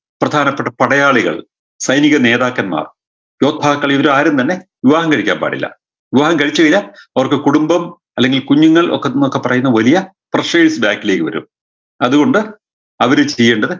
പ്രധാനപ്പെട്ട പടയാളികൾ സൈനീകനേതാക്കന്മാർ യോദ്ധാക്കൾ ഇവരാരും തന്നെ വിവാഹം കഴിക്കാൻ പാടില്ല വിവാഹം കഴിച്ച് കഴിഞ്ഞാ അവർക്ക് കുടുംബം അല്ലെങ്കി കുഞ്ഞുങ്ങൾ ഒക്കത്ത് ന്നൊക്കെ പറയുന്ന വലിയ back ലേക്ക് വരും അത് കൊണ്ട് അവര് ചെയ്യേണ്ടത്